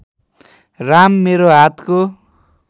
राम मेरो हातको